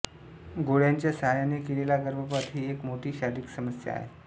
गोळ्यांच्या साहाय्याने केलेला गर्भपात ही एक मोठी शारीरिक समस्या आहे